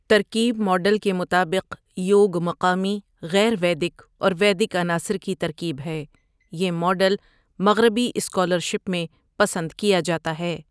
ترکیب ماڈل کے مطابق، یوگ مقامی، غیر ویدک اور ویدک عناصر کی ترکیب ہے، یہ ماڈل مغربی اسکالرشپ میں پسند کیا جاتا ہے۔